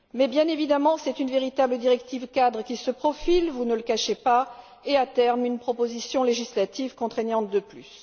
Bien évidemment, c'est une véritable directive cadre qui se profile vous ne le cachez pas et, à terme, une proposition législative contraignante de plus.